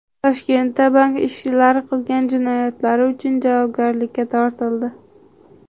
Toshkentda bank ishchilari qilgan jinoyatlari uchun javobgarlikka tortildi.